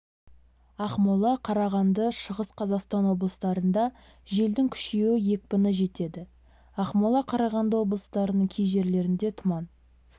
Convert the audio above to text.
ақмола қарағанды шығыс қазақстан облыстарында желдің күшеюі екпіні с-қа жетеді ақмола қарағанды облыстарының кей жерлерінде тұман